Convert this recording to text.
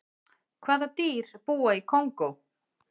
hvaða dýr búa í kongó